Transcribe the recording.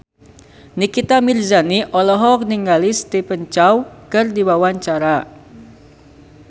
Nikita Mirzani olohok ningali Stephen Chow keur diwawancara